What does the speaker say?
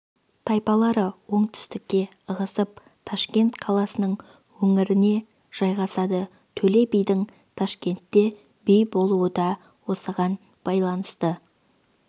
тайпалары оңтүстікке ығысып ташкент қаласының өңіріне жайғасады төле бидің ташкентте би болуы да осыған байланысты